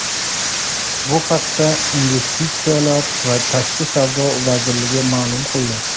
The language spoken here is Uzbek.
Bu haqda Investitsiyalar va tashqi savdo vazirligi ma’lum qildi.